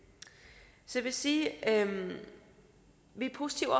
så jeg vil sige at vi er positive